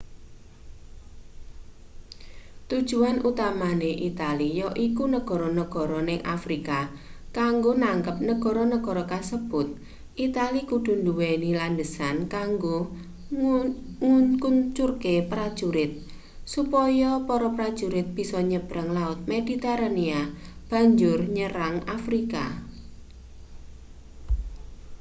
tujuan utamane itali yaiku negara-negara ning afrika kanggo nangkep negara-negara kasebut itali kudu nduweni landesan kanggo ngkuncurke prajurit supaya para prajurit bisa nyebrang laut mediterania banjur nyerang afrika